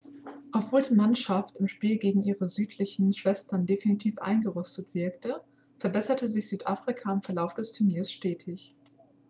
obwohl die mannschaft im spiel gegen ihre südlichen schwestern definitiv eingerostet wirkte verbesserte sich südafrika im verlauf des turniers stetig